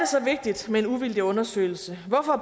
så vigtigt med en uvildig undersøgelse hvorfor